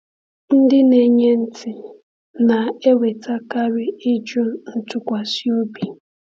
Ndị na-enye ntị na-enwetakarị ịjụ ntụkwasị obi.